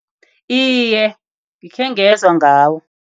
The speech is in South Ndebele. Iye, ngikhengezwa ngawo.